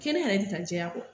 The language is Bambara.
Kɛnɛya yɛrɛ tɛ taa jɛya kɔ